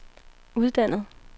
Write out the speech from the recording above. uddannet